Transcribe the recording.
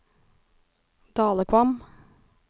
Dalekvam